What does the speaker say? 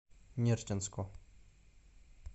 нерчинску